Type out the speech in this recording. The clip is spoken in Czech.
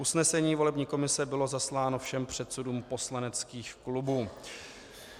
Usnesení volební komise bylo zasláno všem předsedům poslaneckých klubů.